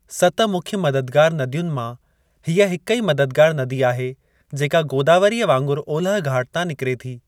सत मुख्य मददगारु नदियुनि मां, हीअ हिक ई मददगारु नदी आहे जेका गोदावरीअ वांगुरु ओलह घाट तां निकिरे थी।